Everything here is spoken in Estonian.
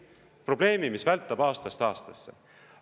Probleemi, mis vältab aastast aastasse.